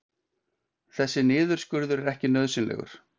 Þessi niðurskurður er ekki nauðsynlegur